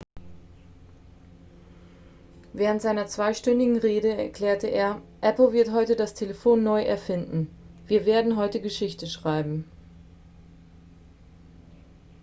während seiner zweistündigen rede erklärte er apple wird heute das telefon neu erfinden wir werden heute geschichte schreiben